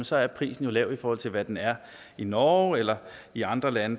så er prisen lav i forhold til hvad den er i norge eller i andre lande